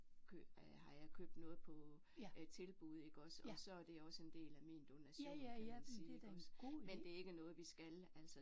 Kø har jeg købt noget på tilbud iggås og så er det også en del af min donation kan man sige iggås. Men det er ikke noget vi skal altså